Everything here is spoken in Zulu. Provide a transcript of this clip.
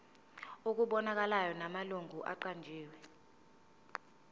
okubonakalayo namalungu aqanjiwe